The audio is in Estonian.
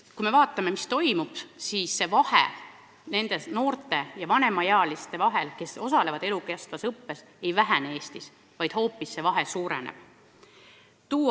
Kui me vaatame, mis toimub, siis vahe nende noorte ja vanemaealiste vahel, kes osalevad elukestvas õppes, ei vähene Eestis, vaid hoopis suureneb.